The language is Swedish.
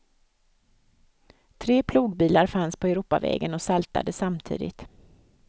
Tre plogbilar fanns på europavägen och saltade samtidigt.